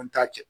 An t'a kɛ